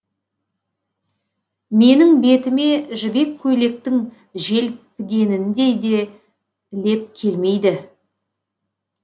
менің бетіме жібек көйлектің желпігеніндей де леп келмейді